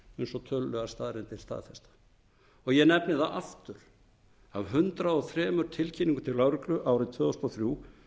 og tölulegar staðreyndir staðfesta ég nefni það aftur að af hundrað og þrjú tilkynningum til lögreglu árið tvö þúsund og þrjú